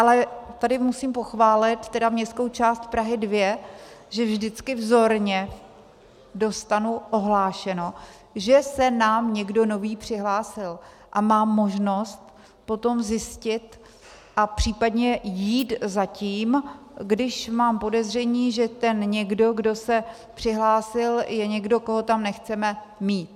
Ale tady musím pochválit tedy městskou část Prahu 2, že vždycky vzorně dostanu ohlášeno, že se nám někdo nový přihlásil, a mám možnost potom zjistit a případně jít za tím, když mám podezření, že ten někdo, kdo se přihlásil, je někdo, koho tam nechceme mít.